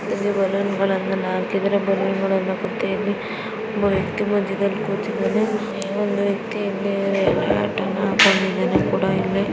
ನಾವು ಇಲ್ಲಿ ಬಲೂನ್ಗಲ್ಲನು ನೋಡಬಹುದು. ಒಬ್ಬ ವ್ಯಕ್ತಿ ಕೂತಿದ್ದಾನೆ ಯಲ್ಲೋ ಹ್ಯಾಟ್ ಅನ್ನು ಹಾಕೊಂಡು ಇದ್ದಾನೆ.